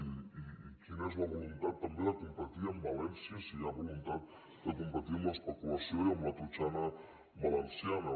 i quina és la voluntat tam·bé de competir amb valència si hi ha voluntat de com·petir amb l’especulació i amb la totxana valenciana